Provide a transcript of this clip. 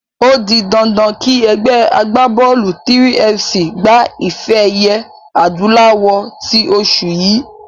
O di dandan kí ẹgbẹ́ agbábọ́ọ̀lù 3FC gba ife-ẹ̀yẹ adúláwọ̀ tí oṣù yìí.